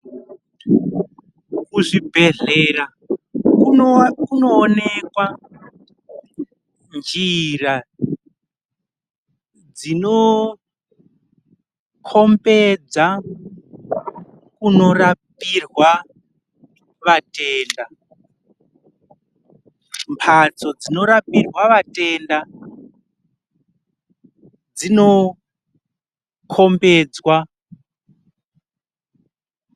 Kuzvibhedhlera kunoonekwa njira dzinokhombidza kunorapirwa vatenda ,mbatso dzinorapirwa vatenda dzinokhombedzwa .